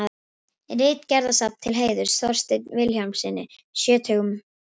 Ritgerðasafn til heiðurs Þorsteini Vilhjálmssyni sjötugum.